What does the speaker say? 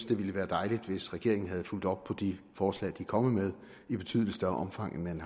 det ville være dejligt hvis regeringen havde fulgt op på de forslag den er kommet med i betydelig større omfang end